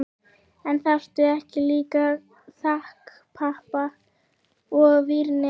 En þarftu ekki líka þakpappa og vírnet?